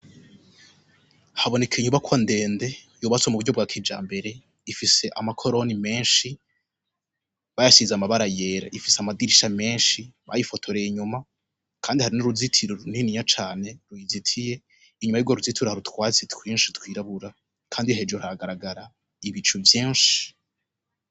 Haboneka inyubako ndende yobatse mu buryo bwa kija mbere ifise amakoroni menshi bayashize amabara yera ifise amadirisha menshi bayifotoreye inyuma, kandi hari n'uruzitiro runtininya cane ruyizitiye inyuma y'ubwo ruzitura harutwatsi twinshi twirabura, kandi hejuru haragaragara ibicu vyinshi.